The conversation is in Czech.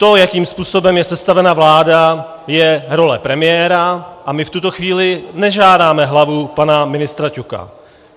To, jakým způsobem je sestavena vláda, je role premiéra a my v tuto chvíli nežádáme hlavu pana ministra Ťoka.